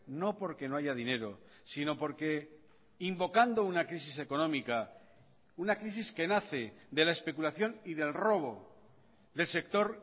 no porque no haya dinero sino porque invocando una crisis económica una crisis que nace de la especulación y del robo del sector